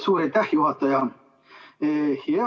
Suur aitäh, juhataja!